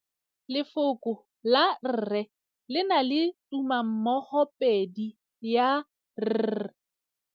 Lefoko la rre le na le tumammogôpedi ya, r.